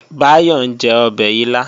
Báyọ̀ ń jẹ ọbẹ̀ ilá